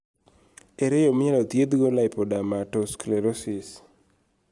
ere yoo minyalo dhiedh go lipodermatosclerosis?